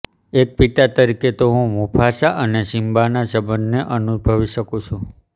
એક પિતા તરીકે હું મુફાસા અને સિમ્બાના સંબંધને અનુભવી શકું છું